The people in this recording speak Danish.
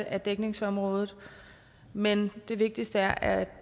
af dækningsområdet men det vigtigste er at